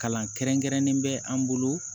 Kalan kɛrɛnkɛrɛnnen bɛ an bolo